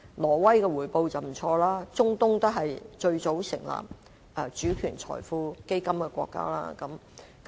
挪威的回報很不俗，而中東也是最早成立這種基金的國家。